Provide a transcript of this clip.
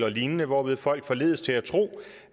og lignende hvorved folk forledes til at tro